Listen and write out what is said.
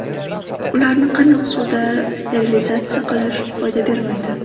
Ularni qaynoq suvda sterilizatsiya qilish foyda bermaydi.